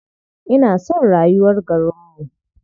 Ina son rayuwar garinmu.